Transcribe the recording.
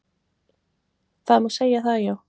Það má segja það já.